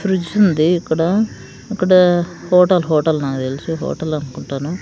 Fridge ఉంది ఇక్కడ ఇక్కడ హోట హోటల్ నాకు తెలిసి హోటల్ అనుకుంటాను.